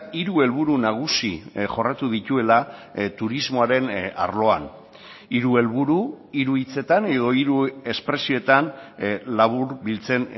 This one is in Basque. hiru helburu nagusi jorratu dituela turismoaren arloan hiru helburu hiru hitzetan edo hiru espresioetan laburbiltzen